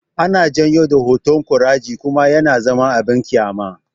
Ana janyo da hotan koraje kuma yana zama abin kyama